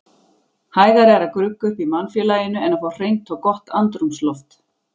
Hægara er að grugga upp í mannfélaginu en að fá hreint og gott andrúmsloft.